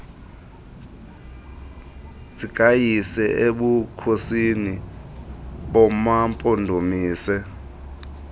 zikayise ebukhosini bamampondomise